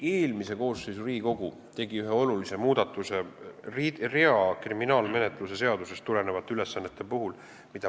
Eelmine Riigikogu tegi ühe olulise muudatuse rea kriminaalmenetluse seadustikust tulenevate ülesannete kohta.